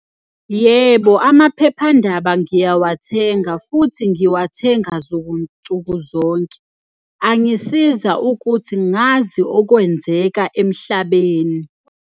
Yebo, amaphephandaba ngiyawathenga futhi ngiwathenga nsuku zonke. Angisiza ukuthi ngazi okwenzeka emhlabeni.